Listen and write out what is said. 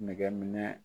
Nɛgɛ minɛ